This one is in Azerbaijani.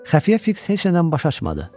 Xəfiyyə Fiks heç nədən baş açmadı.